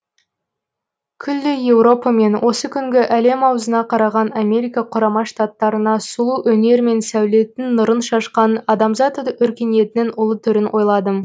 күллі еуропа мен осы күнгі әлем ауызына қараған америка құрама штаттарына сұлу өнер мен сәулеттің нұрын шашқан адамзат өркениетінің ұлы төрін ойладым